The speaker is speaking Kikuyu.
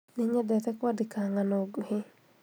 Nĩnyendete kwandĩka ng'ano nguhĩ